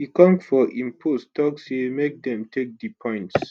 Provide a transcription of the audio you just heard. ekong for im post tok say make dem take di points